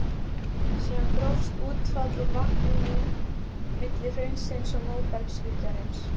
Síðan grófst útfall úr vatninu milli hraunsins og móbergshryggjarins.